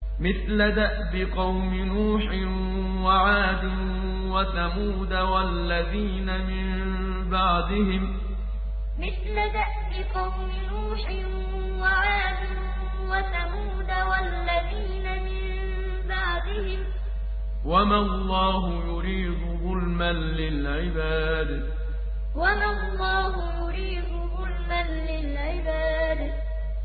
مِثْلَ دَأْبِ قَوْمِ نُوحٍ وَعَادٍ وَثَمُودَ وَالَّذِينَ مِن بَعْدِهِمْ ۚ وَمَا اللَّهُ يُرِيدُ ظُلْمًا لِّلْعِبَادِ مِثْلَ دَأْبِ قَوْمِ نُوحٍ وَعَادٍ وَثَمُودَ وَالَّذِينَ مِن بَعْدِهِمْ ۚ وَمَا اللَّهُ يُرِيدُ ظُلْمًا لِّلْعِبَادِ